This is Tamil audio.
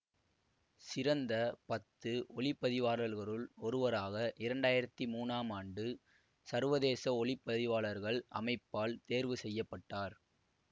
சிறந்த பத்து ஒளிப்பதிவாளர்களுள் ஒருவராக இரண்டு ஆயிரத்தி மூனாம் ஆண்டு சர்வதேச ஒளிப்பதிவாளர்கள் அமைப்பால் தேர்வு செய்ய பட்டார்